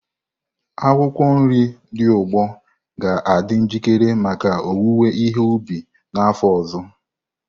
Akwụkwọ nri dị n'ugbo ga-adị njikere maka owuwe ihe ubi n'afọ ọzọ.